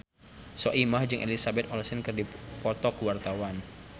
Soimah jeung Elizabeth Olsen keur dipoto ku wartawan